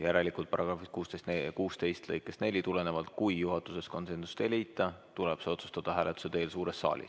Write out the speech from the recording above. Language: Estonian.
Järelikult, § 16 lõikest 4 tulenevalt, kui juhatuses konsensust ei leita, tuleb otsus teha hääletuse teel suures saalis.